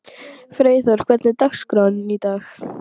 Freyþór, hvernig er dagskráin í dag?